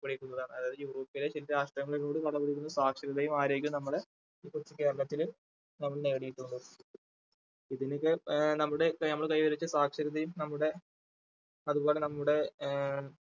പിടിക്കുന്നതാണ് അതായത് യൂറോപ്പിലെയും ചില രാഷ്ട്രങ്ങളോട് കട പിടിക്കുന്ന സാക്ഷരതയും ആരോഗ്യവും നമ്മളെ ഇതൊക്കെ കേരളത്തില് നമ്മൾ നേടിയിട്ടുണ്ട്. ഇതിനുമേൽ ആ നമ്മുടെ കേരളം കൈവരിച്ച സാക്ഷരതയും നമ്മുടെ അതുപോലെ നമ്മുടെ